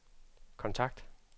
kontakt